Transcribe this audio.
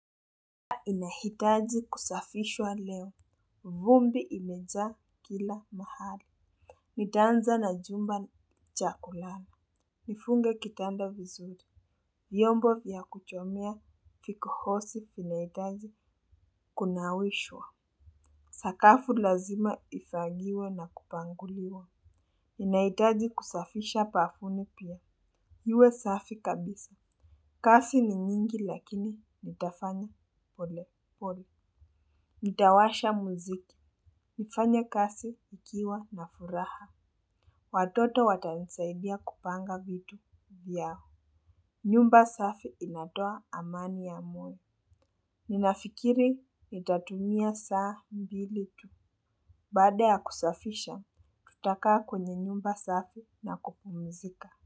Inahitaji kusafishwa leo, vumbi imejaa kila mahali. Nitaanza na jumba cha kulala. Nifunge kitanda vizuri vyombo vya kuchomea kikohozi vinahitaji kunawishwa. Sakafu lazima ifagiwe na kupanguliwa. Inahitaji kusafisha bafuni pia, iwe safi kabisa. Kazi ni nyingi lakini nitafanya pole pole. Nitawasha muziki, nifanye kazi nikiwa na furaha. Watoto watanisaidia kupanga vitu vyao. Nyumba safi inatoa amani ya moyo. Ninafikiri, nitatumia saa mbili tu. Baada ya kusafisha, tutakaa kwenye nyumba safi na kupumzika.